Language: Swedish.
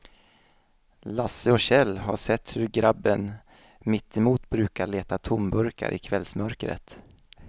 Lasse och Kjell har sett hur gubben mittemot brukar leta tomburkar i kvällsmörkret.